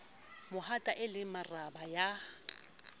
mahata e le marabe ya